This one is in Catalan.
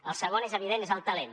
el segon és evident és el talent